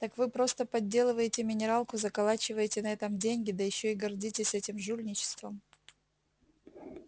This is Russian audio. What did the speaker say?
так вы просто подделываете минералку заколачиваете на этом деньги да ещё и гордитесь этим жульничеством